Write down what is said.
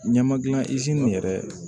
Ɲɛma gilan yɛrɛ